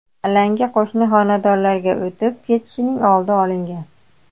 Alanga qo‘shni xonadonlarga o‘tib ketishining oldi olingan.